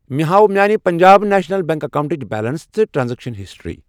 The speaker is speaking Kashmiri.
مےٚ ہاو میٲنہِ پنٛجاب نیشنَل بیٚنٛک اکیٚونٹٕچ بیلنس تہٕ ٹرانزیکشن ہسٹری۔